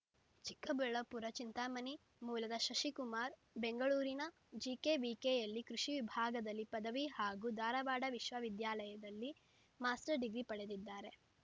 ಚಿಕ್ಕಬಳ್ಳಾಪುರ ಚಿಂತಾಮಣಿ ಮೂಲದ ಶಶಿಕುಮಾರ್‌ ಬೆಂಗಳೂರಿನ ಜಿಕೆವಿಕೆಯಲ್ಲಿ ಕೃಷಿ ವಿಭಾಗದಲ್ಲಿ ಪದವಿ ಹಾಗೂ ಧಾರಾವಾಡ ವಿಶ್ವವಿದ್ಯಾಲಯದಲ್ಲಿ ಮಾಸ್ಟರ್‌ ಡಿಗ್ರಿ ಪಡೆದಿದ್ದಾರೆ